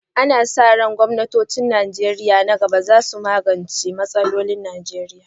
Ana sa ran gwamnatocin Najeriya masu zuwa za su magance ƙalubale kamar inganta ababen more rayuwa.